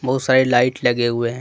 बहुत सारी लाइट लगे हुए हैं।